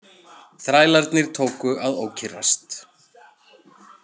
Þrælarnir tóku að ókyrrast.